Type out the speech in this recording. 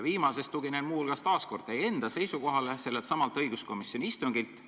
Viimases väites tuginen ma muu hulgas teie enda seisukohale selleltsamalt õiguskomisjoni instungilt.